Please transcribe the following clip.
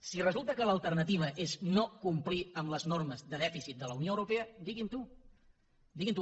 si resulta que l’alternativa és no complir amb les normes de dèficit de la unió europea diguin ho diguin ho